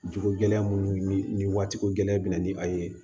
Jogo gɛlɛya minnu ni waati ko gɛlɛya binna ni a ye